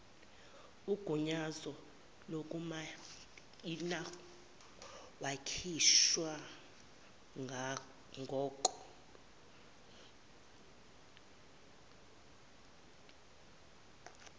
ugunyazo lokumayinawakhishwa ngoko